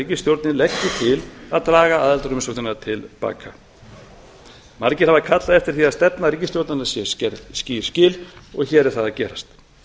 ríkisstjórnin leggi til að draga aðildarumsóknina til baka margir hafa kallað eftir því að stefnu ríkisstjórnarinnar séu gerð skýr skil og hér er það að gerast